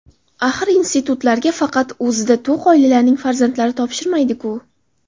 Axir institutlarga faqat o‘ziga to‘q oilalarning farzandlari topshirmaydiku!!!